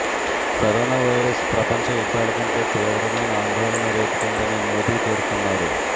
corona virus ప్రపంచ యుద్ధాలకంటే తీవ్రమైన ఆందోళన రేపుతోందని మోదీ పేర్కొన్నారు